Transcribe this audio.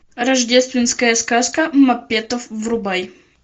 рождественская сказка маппетов врубай